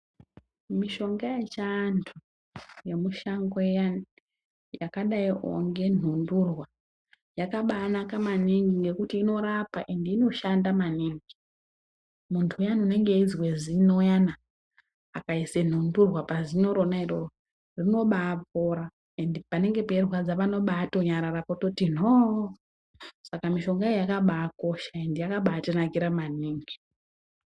Mushonga yechiantu yemushango iyani yakadaiwo ngenhundurwa yakabanaka maningi ngekuti inorapa ende inoshanda maningi. Muntu uyani unenge eizwe zino uyana akaisa nhunturwa pazino rona iroro rinobapora ende panenge peirwadza panonyarara kuti nhoo. Saka mishonga iyi yakabakosha ende yakabatinakira maningi.